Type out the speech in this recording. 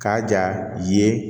K'a ja ye